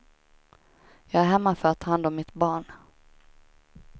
Jag är hemma för att ta hand om mitt barn.